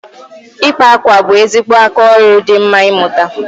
Ịkpa akwa bụ ezigbo aka oru di mma ịmụta